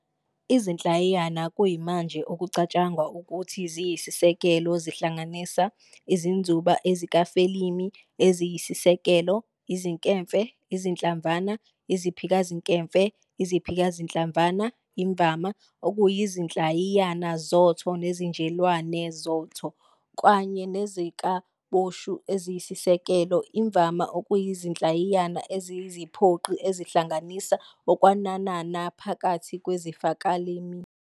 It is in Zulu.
Izinhlayiyana kuyimanje okucatshangwa ukuthi ziyisisekelo zihlanganisa izinzuba, ezikafelimi eziyisiseko, izinkemfe, izinhlamvana, iziphikazinkemfe, iziphikazinhlamvana, imvama okuyizinhlayiyana zotho nezinjelwane zotho, kanye nezikaboshu eziyisisekelo, imvama okuyizinhlayiyana eziyiziphoqi ezihlanganisa okwenanana phakathi kwezikafelimi.